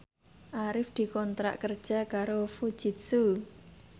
Arif dikontrak kerja karo Fujitsu